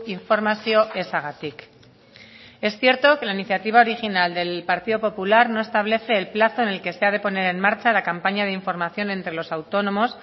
informazio ezagatik es cierto que la iniciativa original del partido popular no establece el plazo en el que se ha de poner en marcha la campaña de información entre los autónomos